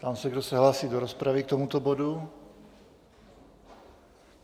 Ptám se, kdo se hlásí do rozpravy k tomuto bodu.